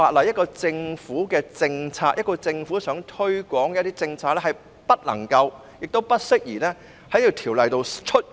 一個政府想推廣一些政策的話，這項條文不能夠亦不適宜加入《條例草案》內。